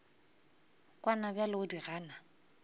kwana bjale o di gana